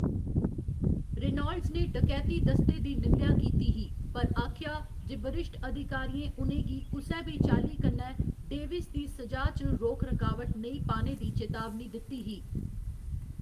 Reynolds ने डकैती दस्ते दी निंदेआ कीती ही, पर आखेआ जे बरिश्ठ अधिकारियें उ'नें गी कुसै बी चाल्ली कन्नै डेविस दी स'जा च रोक रकावट नेईं पाने दी चेतावनी दित्ती ही।